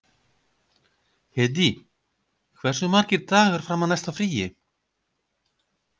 Hedí, hversu margir dagar fram að næsta fríi?